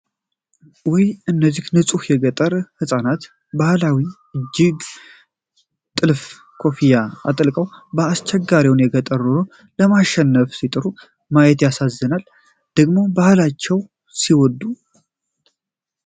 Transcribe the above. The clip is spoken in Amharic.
ውይ! እነዚህ ንጹሃን የገጠር ህጻናት! ባህላዊ የእጅ ጥልፍ ኮፍያዎችን አጥልቀው፣ አስቸጋሪውን የገጠር ኑሮ ለማሸነፍ ሲጥሩ ማየት ያሳዝናል! ደግሞ ባህላቸውን ሲወዱ!